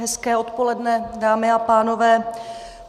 Hezké odpoledne, dámy a pánové.